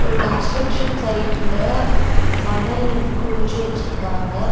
ஒரு கன்ஸ்ட்ரக்ஷன் சைட்ல மணல் குவிச்சி வச்சிருக்காங்க.